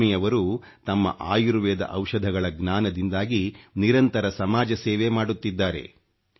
ಲಕ್ಷ್ಮಿಯವರು ತಮ್ಮ ಆಯುರ್ವೇದ ಔಷಧಗಳ ಜ್ಞಾನದಿಂದಾಗಿ ನಿರಂತರ ಸಮಾಜಸೇವೆ ಮಾಡುತ್ತಿದ್ದಾರೆ